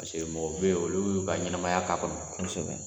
Paseke mɔgɔw bɛ ye olu y'u ka ɲɛnamaya k'a kɔnɔ.